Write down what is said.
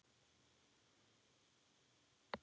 Ertu ekkert farin að sofa!